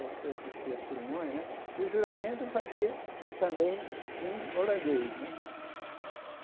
Eu fui assistir a cerimônia né, e o juramento ele fazia também em holandês né.